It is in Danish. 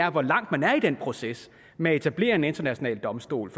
om hvor langt man er i den proces med at etablere en international domstol